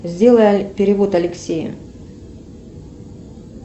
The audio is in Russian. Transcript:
сделай перевод алексею